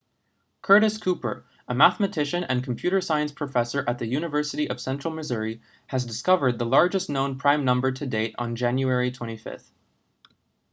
curtis cooper a mathematician and computer science professor at the university of central missouri has discovered the largest known prime number to date on january 25